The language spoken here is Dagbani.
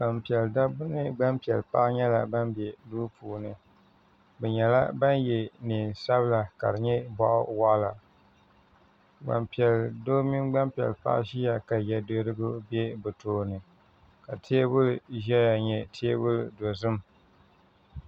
gbanipiɛlla paɣ' mini gbanpiɛlla do nyɛla ban bɛ do puuni bɛ nyɛla ban yɛ nɛɛ sabila ka di nyɛ bɔɣ' waɣila gban piɛli paɣ' mini gban do ʒɛya ka yɛ duhirigu bɛ be tuuni ka tɛbuli ʒɛya n nyɛ tɛbuli dozim